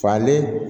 Falen